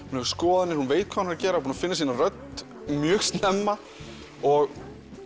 hún hefur skoðanir veit hvað hún er að gera búin að finna sína rödd mjög snemma og